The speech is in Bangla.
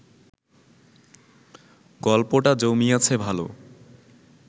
গল্পটা জমিয়াছে ভাল